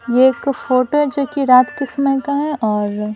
ये एक फोटो है जो कि रात के समय का है और --